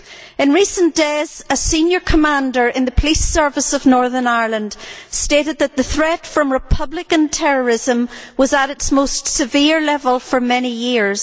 In recent days, a senior commander in the Police Service of Northern Ireland stated that the threat from Republican terrorism was at its most severe level for many years.